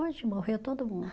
Hoje morreu todo mundo.